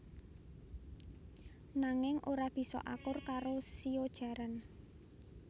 Nanging ora bisa akur karo shio jaran